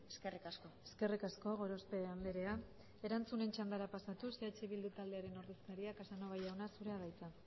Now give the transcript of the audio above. eskerrik asko eskerrik asko gorospe andrea erantzunen txandara pasatuz eh bildu taldearen ordezkaria casanova jauna zurea da hitza